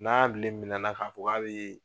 N'a bilen minɛna k'a ko a bɛ ye.